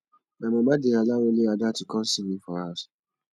my mama dey allow only ada to come see me for house